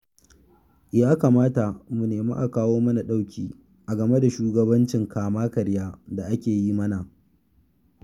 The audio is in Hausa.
Ya kamata mu nemi a kawo mana ɗauki a game da shugabancin kama-karya da ake yi mana